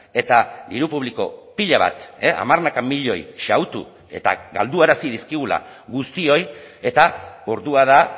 eta diru publiko pila bat hamarnaka milioi xahutu eta galduarazi dizkigula guztioi eta ordua da